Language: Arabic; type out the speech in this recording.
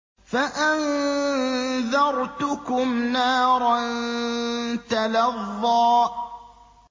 فَأَنذَرْتُكُمْ نَارًا تَلَظَّىٰ